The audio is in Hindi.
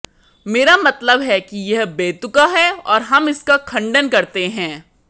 मेरा मतलब है कि यह बेतुका है और हम इसका खंडन करते हैं